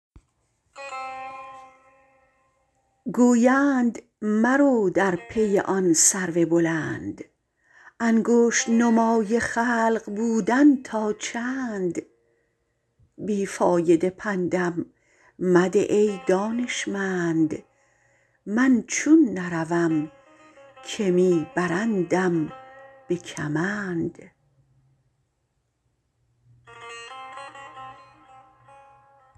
گویند مرو در پی آن سرو بلند انگشت نمای خلق بودن تا چند بی فایده پندم مده ای دانشمند من چون نروم که می برندم به کمند